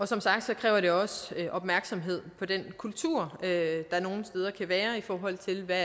som sagt kræver det også opmærksomhed på den kultur der nogle steder kan være i forhold til hvad